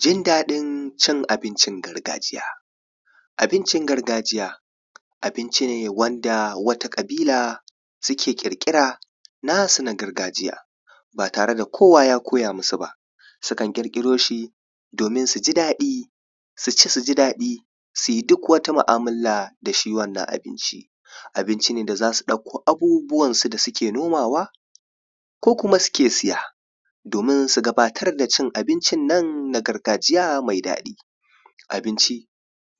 Jin daɗin cin abincin gargajiya, abincin gargajiya abinci ne wanda wata ƙabila suke ƙirƙira nasu na gargajiya ba tare da kowa ya koya musu ba. Sukan ƙirƙiro shi domin su ji daɗi, su ci su ji daɗi, su yi duk wata mu'amala da shi wannan abinci, abinci ne da za su ɗauko abubuwan su da suke nomawa ko kuma suke saya, domin su gabatar da cin abincin nan na gargajiya mai daɗi. Abincin abincin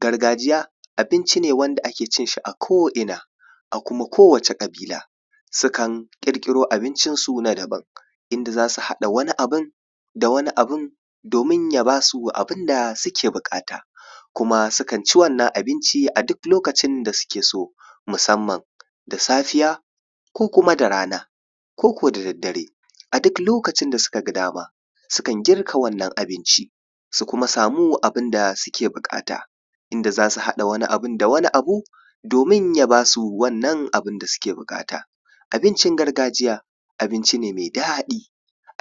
gargajiya abinci ne da ake cin shi a ko'ina a kuma kowace ƙabila sukan ƙirƙiro abincinsu na daban, inda za su haɗa wani abun da wani abun domin ya ba su abun da suke bukata. Kuma sukan ci wannan abinci a duk lokacin da suke so musamman da safiya, ko kuma da rana ko ko da daddare. A duk lokacin da suka gadama sukan girka wannan abinci. Su kuma samu abun da suke bukata inda za su haɗa wani abun da wani abun domin ya ba su wannan abun da suke bukata, abincin gargajiya abinci ne mai daɗin.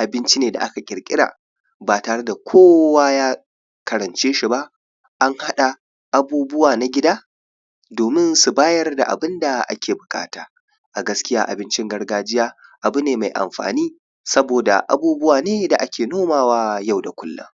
Abinci ne da aka ƙirƙira ba tare da kowa ya karance shi ba, an haɗa abubuwa na gida domin su bayar da abun da ake buƙata. A gaskiya abincin gargajiya abu ne mai amfani saboda abubuwa ne da ake nomawa na yau da kullum.